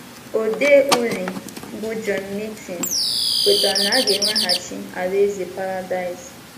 Ode uri bụ́ John Milton kwetara na a ga - eweghachi alaeze Paradaịs